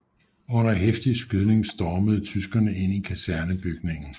Under heftig skydning stormede tyskerne ind i kasernebygningen